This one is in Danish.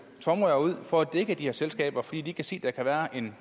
tomrør ud for at dække de her selskaber fordi de kan se der kan være en